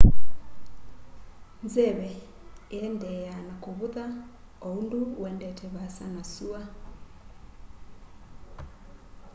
nzeve iendeeaa na kuvutha o undu uendete vaasa na sua